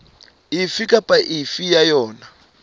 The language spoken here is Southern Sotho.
efe kapa efe ya yona